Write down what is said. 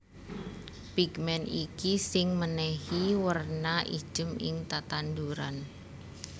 Pigmen iki sing mènèhi werna ijem ing tetanduran